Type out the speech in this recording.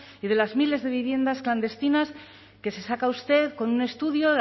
y de las miles de viviendas clandestinas que se saca usted con un estudio